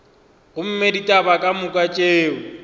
gomme ditaba ka moka tšeo